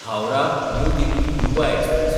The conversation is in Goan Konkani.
हावराह–न्यू दिल्ली युवा एक्सप्रॅस